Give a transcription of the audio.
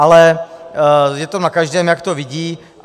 Ale je to na každém, jak to vidí.